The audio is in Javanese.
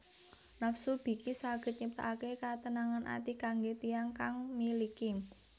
Nafsu biki saged nyiptaake ketenangan ati kangge tiyang kang miliki